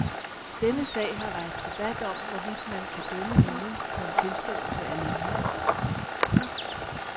Denne sag har rejst debat om, hvorvidt man kan dømme nogen på en tilståelse alene.